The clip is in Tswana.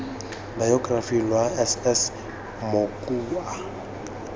bayokerafi lwa s s mokua